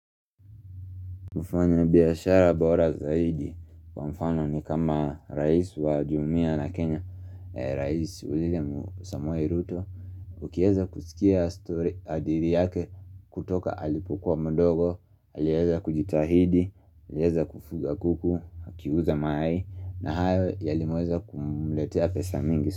Mufanya biashara bora zaidi kwa mfano ni kama rais wa Jumia la Kenya, rais william Samoei Ruto. Ukieza kusikia story hadithi yake kutoka alipukua mdogo, alieza kujitahidi, alieza kufuga kuku, akiuza mayai na hayo yalimweza kumletea pesa mingi.